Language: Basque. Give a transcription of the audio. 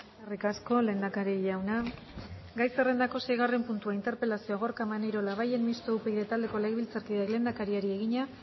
eskerrik asko lehendakari jauna gai zerrendako seigarren puntua interpelazioa gorka maneiro labayen mistoa upyd taldeko legebiltzarkideak lehendakariari egina